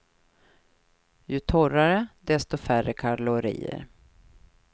Ju torrare, desto färre kalorier.